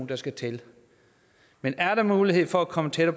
der skal til men er der mulighed for at komme tættere